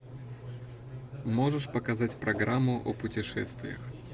можешь показать программу о путешествиях